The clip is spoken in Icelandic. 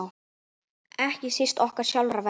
Ekki síst okkar sjálfra vegna.